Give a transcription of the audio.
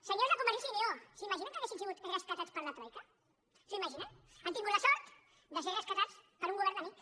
senyors de convergència i unió s’imaginen que ha·guessin sigut rescatats per la troica s’ho imaginen han tingut la sort de ser rescatats per un govern amic